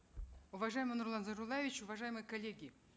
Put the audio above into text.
уважаемый нурлан зайроллаевич уважаемые коллеги